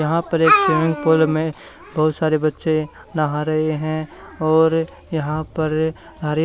यहां पर एक स्विमिंग पूल में बहुत सारे बच्चे नहा रहे हैं और यहां पर हरे--